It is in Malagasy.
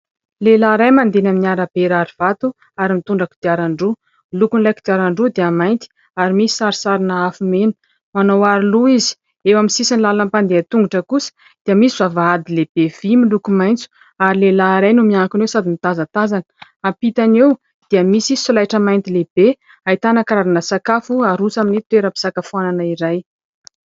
Lehilahy iray mandeha eny amin'ny arabe rarivato ary mitondra kodiaran-droa. Ny lokon'ilay kodiaran-droa dia mainty ary misy sarisarina afo mena. Manao aro loha izy. Eo amin'ny sisin'ny lalan'ny mpandeha tongotra kosa dia misy vavahady lehibe vy miloko maitso ary lehilahy iray no miankina eo sady mitazatazana, ampitany eo dia misy solaitra mainty lehibe ahitana karazana sakafo aroso amin'ny toeram-pisakafoanana iray.